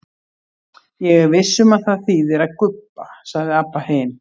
Ég er viss um að það þýðir að gubba, sagði Abba hin.